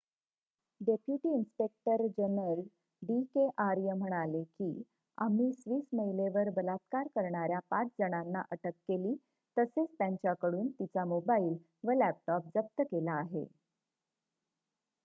"Deputy inspector general D K Arya म्हणाले की "आम्ही स्विस महिलेवर बलात्कार करणार्‍या 5 जणांना अटक केली तसेच त्यांच्याकडून तिचा मोबाईल व लॅपटॉप जप्त केला आहे.""